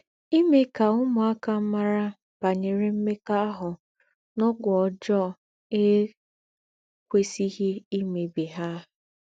Ímè ká úmùákà márà bànyèrè m̀mèkọ́àhù́ nà ógwù ójọ́ è kwèsíghí ímèbí hà.